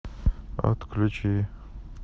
отключи